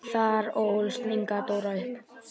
Þar ólst Inga Dóra upp.